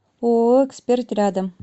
ооо эксперт рядом